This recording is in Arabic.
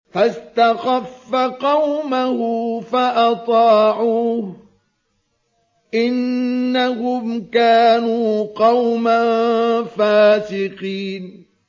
فَاسْتَخَفَّ قَوْمَهُ فَأَطَاعُوهُ ۚ إِنَّهُمْ كَانُوا قَوْمًا فَاسِقِينَ